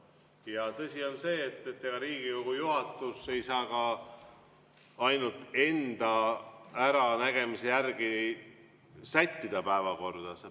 Ja tõsi on see, et ega Riigikogu juhatus ei saa ka ainult enda äranägemise järgi sättida päevakorda.